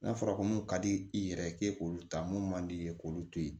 N'a fɔra ko mun ka di i yɛrɛ ye k'e k'olu ta mun man di i ye k'olu to ye